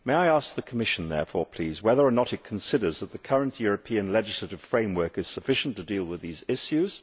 May I ask the Commission, therefore, whether or not it considers the current European legislative framework sufficient to deal with these issues?